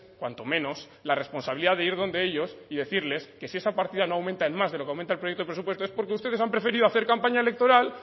cuanto menos la responsabilidad de ir donde ellos y decirles que si esa partida no aumenta en más de lo que aumenta el proyecto de presupuesto es porque ustedes han preferido hacer campaña electoral